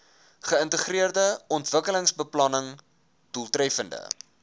geïntegreerde ontwikkelingsbeplanning doeltreffende